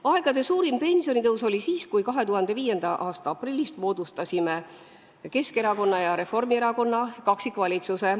Aegade suurim pensionitõus oli siis, kui me 2005. aasta aprillis moodustasime Keskerakonna ja Reformierakonna kaksikvalitsuse.